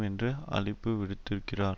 என்று அழைப்பு விடுத்திருக்கிறார்